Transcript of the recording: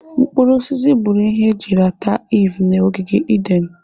Mkpụrụ osisi bụrụ ihe eji rata Iv na ogige Eden.